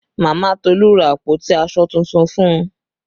Mama Tolu ra àpótí aṣọ tuntun fún un